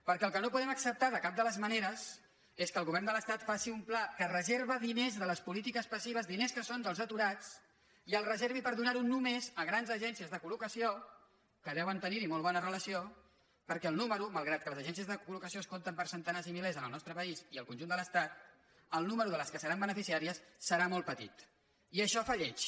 perquè el que no podem acceptar de cap de les maneres és que el govern de l’estat faci un pla que reserva diners de les polítiques passives diners que són dels aturats i els reservi per donar·ho només a grans agències de col·locació que deuen tenir·hi molt bona relació per·què malgrat que les agències de colten per centenars i milers en el nostre país i al conjunt de l’estat el nombre de les que en seran beneficiàries serà molt petit i això fa lleig